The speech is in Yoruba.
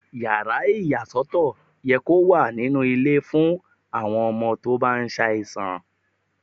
Yàrá ìyà sọ́tọ̀ yẹ kó wà nínú ilé ìwé fún àwọn ọmọ tó bá ṣàìsàn.